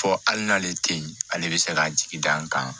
Fɔ hali n'ale tɛ ye ale bɛ se ka jigi da n kan